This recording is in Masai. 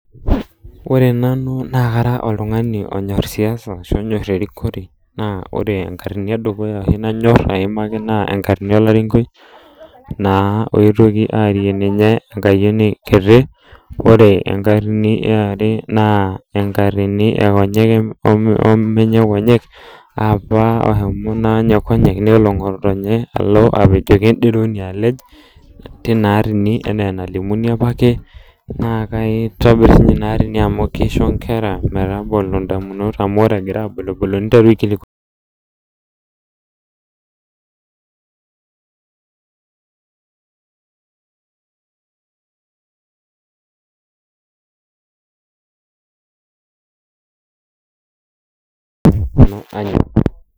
Ore nanu naa kanyor oltungani onyor siasa ashu onyor erikore naa ore enkatini edukuya oshi nanyor aimaki naa enkatini olarinkoi naa oetuoki aarie ninye enkayieni kiti , ore enkatini eare naa enkatini ekonyek omenye konyek apa ohomo naa ninye konyek nelo ngotonye alo apejoki enderoni alej tina atini anaa enalimuni apake naa kaitobir sininye ina atini amu kisho nkera metabolo ndamunot amu ore egira abulubulu niteru aikilikwanu